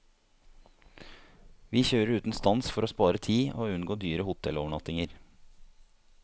Vi kjører uten stans for å spare tid og unngå dyre hotellovernattinger.